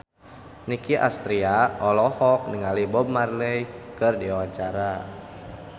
Nicky Astria olohok ningali Bob Marley keur diwawancara